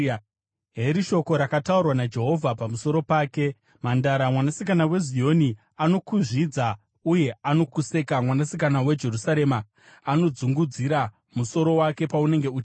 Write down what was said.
heri shoko rakataurwa naJehovha pamusoro pake: “Mhandara Mwanasikana weZioni anokuzvidza uye anokuseka. Mwanasikana weJerusarema anokudzungudzira musoro wake paunenge uchitiza.